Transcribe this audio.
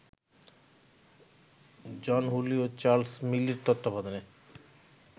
জন Hooley এবং Charles মিলির তত্বাবধানে